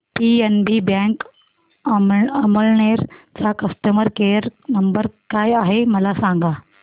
PNB bank Amalner चा customer care number काय आहे मला सांगा